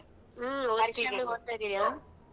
ಹುಂ ಓದ್ತಾ ಇದೀನಿ